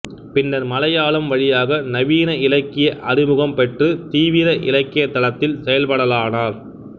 பின்னர் மலையாளம் வழியாக நவீன இலக்கிய அறிமுகம் பெற்று தீவிர இலக்கியத்தளத்தில் செயல்படலானார்